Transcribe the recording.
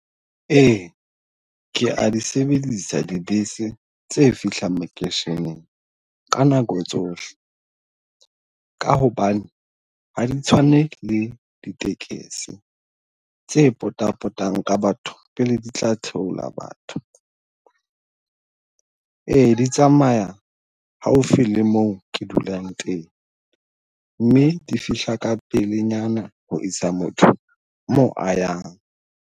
Ee, ke a di sebedisa dibese tse fihlang makeisheneng ka nako tsohle. Ka hobane ha di tshwane le ditekesi tse potapotang ka batho pele di tla theola batho. Ee, di tsamaya haufi le mo ke dulang teng mme di fihla ka pelenyana ho isa motho mo a yang.